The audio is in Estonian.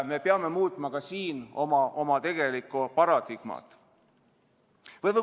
Me peame ka siin oma tegelikku paradigmat muutma.